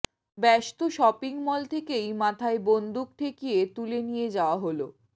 ব্যস্ত shopping mall থেকেই মাথায় বন্দুক ঠেকিয়ে তুলে নিয়ে যাওয়া হল